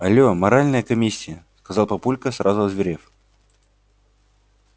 алло моральная комиссия сказал папулька сразу озверев